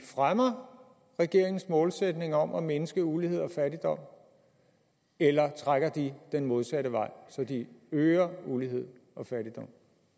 fremmer regeringens målsætning om at mindske ulighed og fattigdom eller trækker de den modsatte vej så de øger ulighed og fattigdom